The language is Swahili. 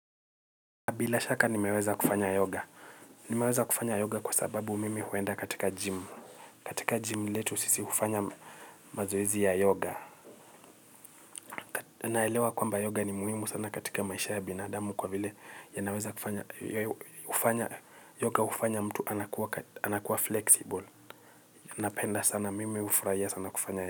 Bila shaka nimeweza kufanya yoga. Nimeweza kufanya yoga kwa sababu mimi huenda katika gym. Katika gym letu sisi hufanya mazoezi ya yoga. Naelewa kwamba yoga ni muhimu sana katika maisha ya binadamu kwa vile yanaweza kufanya yoga hufanya mtu anakuwa flexible. Napenda sana mimi hufurahia sana kufanya yoga.